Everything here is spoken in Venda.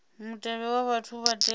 mutevhe wa vhane vha tea